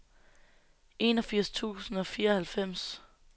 enogfirs tusind og fireoghalvfems